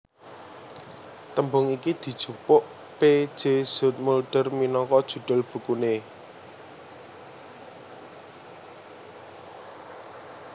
Tembung iki dijupuk P J Zoetmulder minangka judhul bukuné